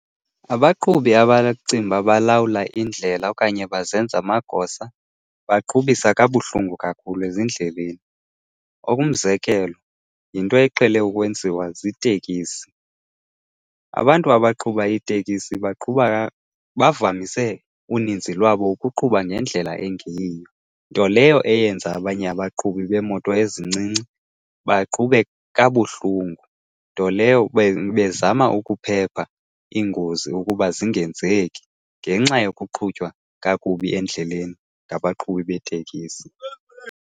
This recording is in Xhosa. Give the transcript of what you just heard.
Abaqhubi abacinga uba balawula indlela okanye bazenza amagosa baqhubisa kabuhlungu kakhulu ezindleleni. Okumzekelo yinto eqhele ukwenziwa ziitekisi. Abantu abaqhuba iitekisi baqhuba , bavamise uninzi lwabo ukuqhuba ngendlela engeyiyo. Nto leyo eyenza abanye abaqhubi beemoto ezincinci baqhube kabuhlungu, nto leyo bezama ukuphepha iingozi ukuba zingenzeki ngenxa yokuqhutywa kakubi endleleni ngabaqhubi beetekisi.